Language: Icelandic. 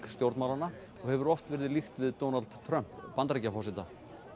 stjórnmálanna og hefur oft verið líkt við Donald Trump Bandaríkjaforseta